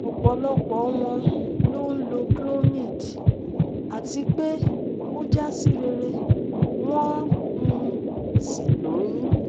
Ọ̀pọ̀lọpọ̀ wọn ló ń lo Clomid àti pé o ja si rere won um sí lóyún